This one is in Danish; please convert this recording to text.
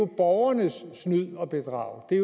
borgernes snyd og bedrag det er